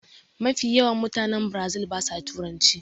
Mafi yawan mutane biirazil ba sa turanci